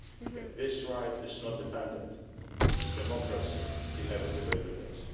it. If this right is not defended, democracy inevitably withers.